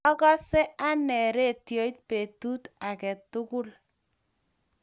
akose anee ratioit betut age tugul.